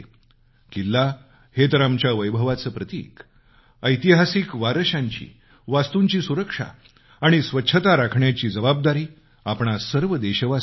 किल्ला हे तर आमच्या वैभवाचं प्रतीक ऐतिहासिक वारश्यांची वास्तूंची सुरक्षा आणि स्वच्छता राखण्याची जबाबदारी आपणा सर्व देशवासीयांची आहे